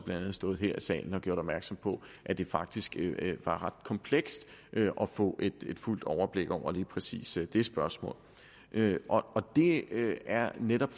stået her i salen og gjort opmærksom på at det faktisk var ret komplekst at få et fuldt overblik over lige præcis det spørgsmål det er netop